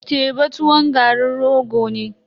Teba tuwon garin rogo ne.